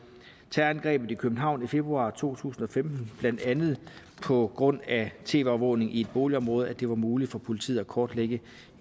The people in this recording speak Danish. terrorangrebet i københavn i februar to tusind og femten blandt andet på grund af tv overvågning i et boligområde at det var muligt for politiet at kortlægge